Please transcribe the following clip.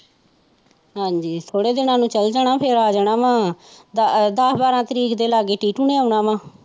ਹਾਂਜੀ ਥੋੜੇ ਦਿਨਾ ਨੂੰ ਫੇਰ ਆ ਜਾਣਾ ਵਾਂ ਦਸ ਬਾਰਾਂ ਤਰੀਕ ਦੇ ਲਾਗੇ ਟੀਟੂ ਨੇ ਆਉਣਾ ਵਾ